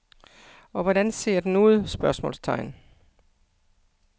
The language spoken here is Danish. Og hvordan ser den ud? spørgsmålstegn